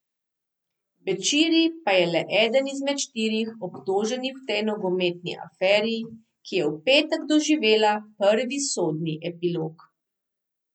Bećiri pa je le eden izmed štirih obtoženih v tej nogometni aferi, ki je v petek doživela prvi sodni epilog.